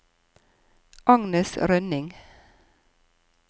Agnes Rønning